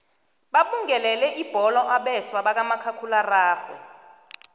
babungelele ibholo abeswa bakamakhakhulararhwe